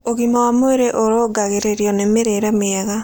Ũgima wa mwĩrĩ ũrũngagĩririo nĩ mĩrĩĩre mĩega